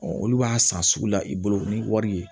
olu b'a san sugu la i bolo ni wari ye